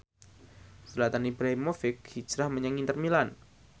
Zlatan Ibrahimovic hijrah menyang Inter Milan